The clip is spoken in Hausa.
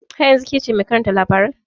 Har yanzun kece mai karanta labarai?